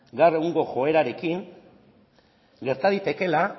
gaur egungo joerarekin gerta daitekeela